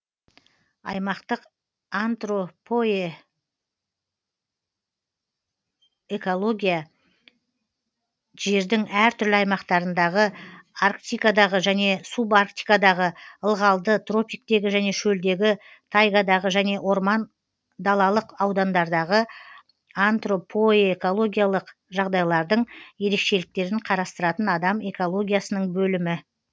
аймақтық антропоэкология жердің әр түрлі аймақтарындағы арктикадағы және субарктикадағы ылғалды тропиктегі және шөлдегі тайгадағы және орман далалық аудандардағы антропоэкологиялық жағдайлардың ерекшеліктерін қарастыратын адам экологиясының бөлімі